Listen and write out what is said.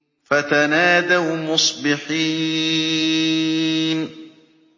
فَتَنَادَوْا مُصْبِحِينَ